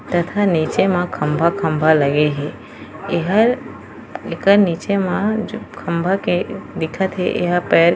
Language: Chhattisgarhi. तथा निचे म खम्भा-खम्भा लगे हे एहर एकर निचे मा खम्भा के दिखत हे एहा--